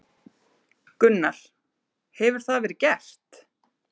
Gunnar: Hefur það verið gert?